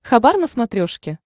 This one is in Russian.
хабар на смотрешке